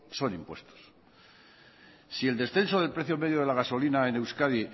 son impuestos si el descenso del precio medio de la gasolina en euskadi